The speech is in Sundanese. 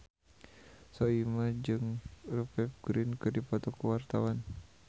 Soimah jeung Rupert Grin keur dipoto ku wartawan